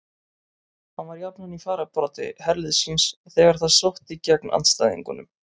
Hann var jafnan í fararbroddi herliðs síns þegar það sótti gegn andstæðingunum.